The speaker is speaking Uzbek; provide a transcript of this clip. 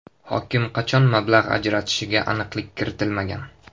Hokim qachon mablag‘ ajratishiga aniqlik kiritilmagan.